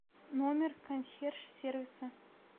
номер консьерж сервиса